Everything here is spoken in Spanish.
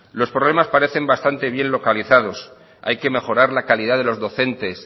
los problemas parecen bastante bien localizados hay que mejora la calidad de los docentes